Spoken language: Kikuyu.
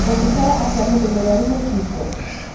Ũngĩtara atia mũndũ mũrwaru mũkingo?